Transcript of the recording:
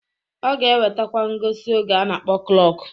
Ọ ga-ewetakwa ngosi oge a na-akpọ klọk.